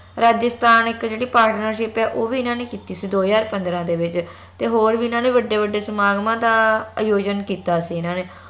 ਰਾਜਸਥਾਨ ਇਕ ਜਿਹੜੀ partnership ਆ ਉਹ ਵੀ ਏਨਾ ਨੇ ਕੀਤੀ ਸੀ ਦੋ ਹਜਾਰ ਪੰਦਰਾਂ ਦੇ ਵਿਚ ਤੇ ਹੋਰ ਵੀ ਏਨਾ ਨੇ ਵੱਡੇ ਵੱਡੇ ਸਮਾਗਮਾਂ ਦਾ ਆਯੋਜਨ ਕੀਤਾ ਸੀ ਏਨਾ ਨੇ